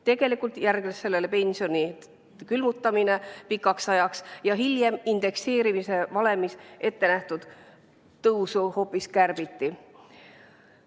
Tegelikult järgnes sellele pensioni külmutamine pikaks ajaks ja hiljem indekseerimise valemiga varem ette nähtud tõusu hoopis kärbiti.